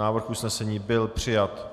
Návrh usnesení byl přijat.